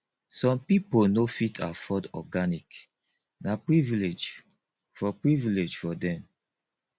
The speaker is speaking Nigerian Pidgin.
some pipo no fit afford organic na privilege for privilege for dem